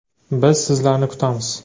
Biz sizlarni kutamiz!